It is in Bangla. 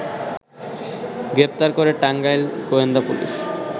গ্রেপ্তার করে টাঙ্গাইল গোয়েন্দা পুলিশ